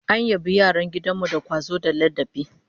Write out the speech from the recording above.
An yabi yaran gidan mu da kwazo da ladabi